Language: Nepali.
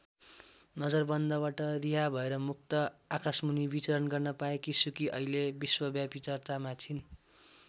नजरबन्दबाट रिहा भएर मुक्त आकाशमुनि विचरण गर्न पाएकी सुकी अहिले विश्वव्यापी चर्चामा छिन्।